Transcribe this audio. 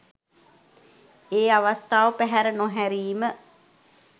ඒ අවස්ථාව පැහැර නොහැරීම